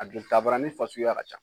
A don tabarani fasuguya ka ca